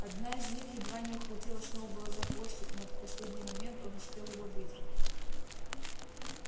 одна из них едва не ухватила сноуболла за хвостик но в последний момент он успел его выдернуть